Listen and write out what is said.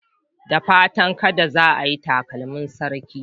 Da fatan kada za ayi takalmin sarki